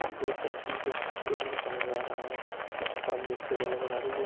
दो तरफ मुझे एक लड़का नजर आ रहा है जिसके सामने एक टेबल नजर आ रही है।